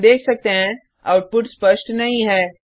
हम देख सकते हैं आउटपुट स्पष्ट नहीं है